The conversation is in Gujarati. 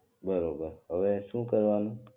બરોબર હવે શું કરવાનું